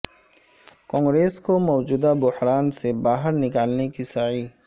کانگریس کو موجودہ بحران سے باہر نکالنے کی سعی